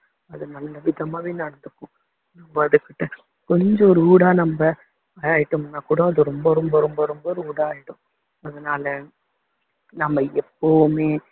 அது நல்ல விதமாவே நடந்துக்கும் நம்ம அதுக்கிட்ட கொஞ்சம் rude ஆ நம்ம விளைடிட்டோம்னா கூட அது ரொம்ப ரொம்ப ரொம்ப ரொம்ப rude ஆகிடும் அதனால நம்ம எப்போவுமே